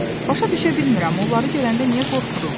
Başa düşə bilmirəm, onları görəndə niyə qorxuruq?